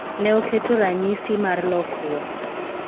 Ne oketo ranyisi mar lokruok